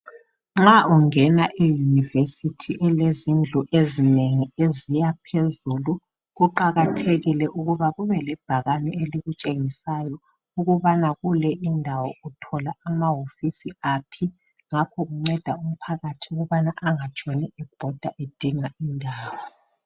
Nxa ungena eyunivesithi elezindlu ezinengi eziyaphezulu. Kuqakathekile ukuthi kuba kube lebhakane elikutshengisayo ukuba kule indawo uthola amahofiso aphi. Ngakho kuncedisa umphakathi ukuthi engatshoni ebhoda edinga indawo.